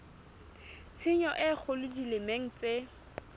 tshenyo e kgolo dimeleng tse